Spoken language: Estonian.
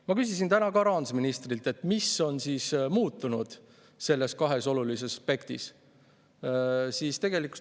Ma küsisin täna ka rahandusministrilt, mis on muutunud selles kahes olulises aspektis.